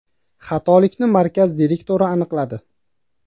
Xatolikni markaz direktori aniqladi.